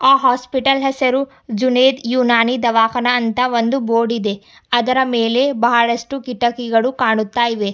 ಆ ಹಾಸ್ಪಿಟಲ್ ಹೆಸರು ಜುನೈದ್ ಉನಾನಿ ದವಖಾನ ಅಂತ ಒಂದು ಬೋರ್ಡ್ ಇದೆ ಅದರ ಮೇಲೆ ಬಹಳಷ್ಟು ಕಿಟಕಿಗಳು ಕಾಣುತ್ತ ಇವೆ.